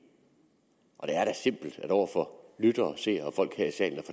og det er da simpelt over for lyttere og seere og folk her i salen at